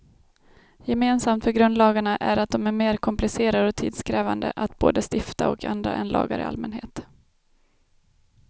Gemensamt för grundlagarna är att de är mer komplicerade och tidskrävande att både stifta och ändra än lagar i allmänhet.